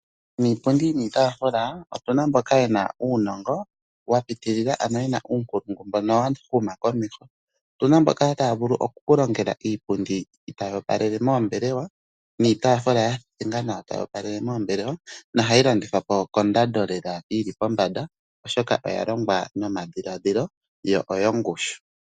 Iipundi niitafula otuna mboka yena uunongo wapitilila ano yena uunkulungu mbono wahuma komeho. Otuna mboka taya vulu oku kulongela iipundi tayi opalele mombelewa niitafula ya thethengwa nawa tayi opalele mombelewa nohayi landithapo kondando lela yili pombanda oshoka oha longwa nomadhiladhilo yo oyo ngushu.